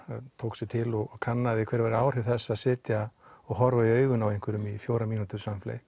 tók sig til og kannaði hver væru áhrif þess að sitja og horfa í augun á einhverjum í fjórar mínútur